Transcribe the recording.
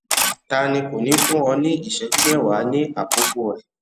tani kò ní fún ọ ní ìṣẹjú mẹwa ní àkókò rẹ